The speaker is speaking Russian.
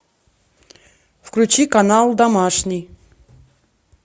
включи канал домашний